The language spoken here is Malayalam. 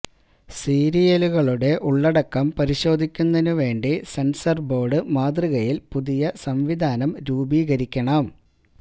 സീരിയലുകളുടെ ഉള്ളടക്കം പരിശോധിക്കുന്നതിനുവേണ്ടി സെൻസർ ബോർഡ് മാതൃകയിൽ പുതിയ സംവിധാനം രൂപീകരിക്കണം